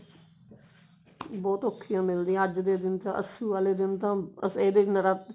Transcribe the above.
ਬਹੁਤ ਓਖੀਆਂ ਮਿਲਦੀਆਂ ਅੱਜ ਦੇ ਦਿਨ ਤਾਂ ਅੱਸੂ ਵਾਲੇ ਦਿਨ ਤਾਂ ਬਸ ਇਹਦੇ ਨਰਾਤੇ